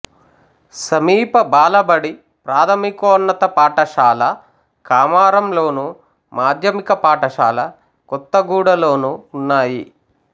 సమీప బాలబడి ప్రాథమికోన్నత పాఠశాల కామారంలోను మాధ్యమిక పాఠశాల కొత్తగూడలోనూ ఉన్నాయి